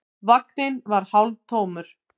Vagninn var hálftómur.